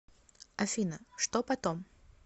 афина что потом